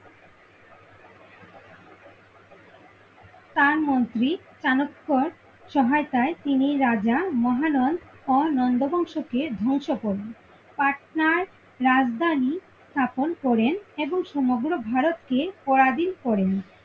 তার মন্ত্রী চানক্যর সহায়তায় তিনি রাজা মহানন্দ আর নন্দ বংশ কে ধংস করেন, পাটনার রাজধানী স্থাপন করেন এবং সমগ্র ভারতকে পরাধীন করেন।